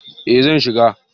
eh zan shiga